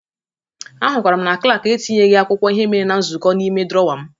Ahụtara m na klak etinyeghi akwụkwọ ihe emere na nzụkọ n'ime drọwa m.